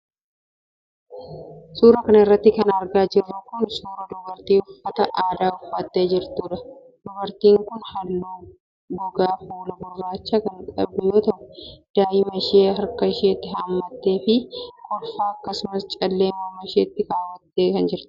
Suura kana irratti kan argaa jirru kun ,suura dubartii uffata aadaa uffattee jirtuudha. Dubartiin kun haalluu gogaa fuulaa gurraacha kan qabdu yoo ta'u, daa'ima ishee harka isheetti haammattee fi kolfaa akkasumas callee morma isheetti kaawwattee mul'atti.